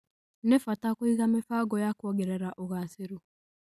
nĩ bata kũiga mĩbango ya kuongerera ũgacĩru